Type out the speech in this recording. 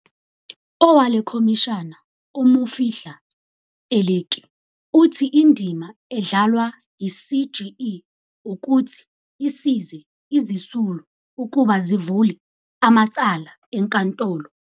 Owalekhomishana u-Mofihli Teleki uthi indima edla lwa yi-CGE wukuthi isize izisulu ukuba zivule amacala enkantolo.